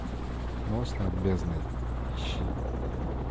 мост над бездной ищи